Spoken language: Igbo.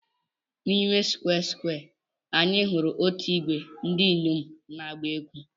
N'ime Square Square, anyị hụrụ otu ìgwè ndị inyom na-agba egwú.